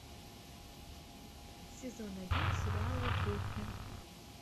сезон один сериала кухня